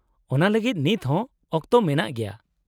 -ᱚᱱᱟ ᱞᱟᱹᱜᱤᱫ ᱱᱤᱛᱦᱚᱸ ᱚᱠᱛᱚ ᱢᱮᱱᱟᱜ ᱜᱮᱭᱟ ᱾